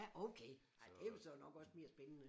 Ja okay ej det vel så nok også mere spændende